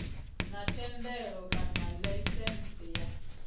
na thendelo kana laisentsi ya